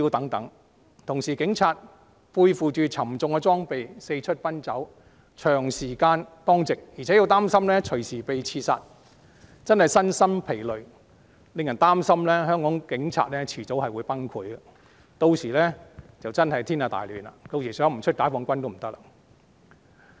與此同時，警察要背負沉重裝備四出奔走，長時間當值，還擔心隨時被刺殺，真的身心疲累，令人擔心香港警察早晚會崩潰，屆時便真的天下大亂，不得不出動解放軍了。